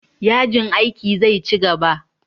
Yajin aikin zai ci gaba.